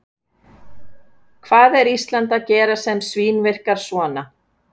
Hvað er Ísland að gera sem svínvirkar svona?